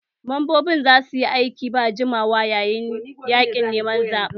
Membobin za su yi aiki ba gajiyawa yayin yaƙin neman zaɓen